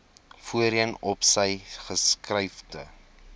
voorheen opsy geskuifde